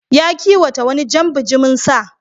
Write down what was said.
Ya kiwata wani jan bajimin sa.